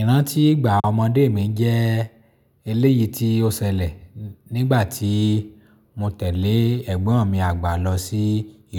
Ìrántí ìgbà ọmọdé mi jẹ́ eléyìí tí ó ṣẹlẹ̀ nígbà tí mo tẹ̀lé ẹ̀gbọ́n mi àgbà lọ sí